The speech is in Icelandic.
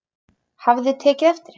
Hafði tekið eftir henni.